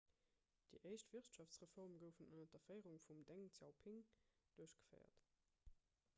déi éischt wirtschaftsreforme goufen ënner der féierung vum deng xiaoping duerchgeféiert